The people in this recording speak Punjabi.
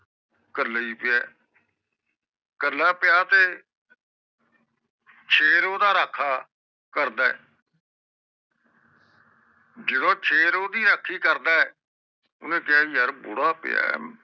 ਕਲਾ ਏ ਪਿਆ ਕਲਾ ਪਿਆ ਆ ਤੇ ਸ਼ੇਰ ਓਹਦਾ ਰਾਖਾ ਕਰਦਾ ਆ ਜਦੋ ਸ਼ੇਰ ਓਹਦੀ ਰਾਖੀ ਕਰਦਾ ਓਹਨੇ ਕਿਹਾ ਵੀ ਯਾਰ ਬੁੜਾ ਪਿਆ ਕਲਾ ਏ ਪਿਆ